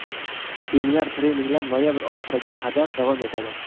Seminar-treninglar noyabr oxiriga qadar davom etadi.